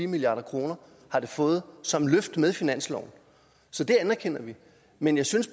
milliard kroner har det fået som et løft med finansloven så det anerkender vi men jeg synes